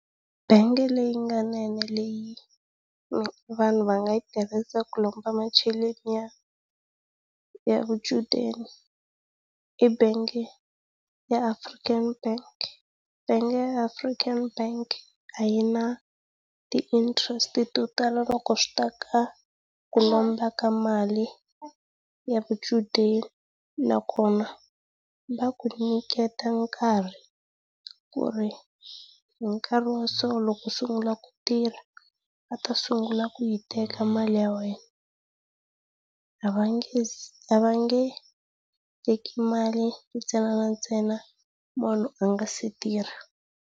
Bangi leyi nga yinene leyi vanhu va nga yi tirhisaka ku lomba macheleni ya ya vuchudeni i bangi ya African Bank. Bangi ya African Bank a yi na ti interest to tala loko swi ta ka ku lomba ka mali ya vuchudeni nakona va ku nyiketa nkarhi ku ri hi nkarhi wa so loko u sungula ku tirha va ta sungula ku yi teka mali ya wena. A va nge a va nge teki mali ntsena na ntsena munhu a nga se tirha.